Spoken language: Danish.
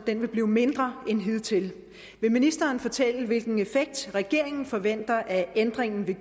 vil blive mindre end hidtil vil ministeren fortælle hvilken effekt regeringen forventer at ændringen vil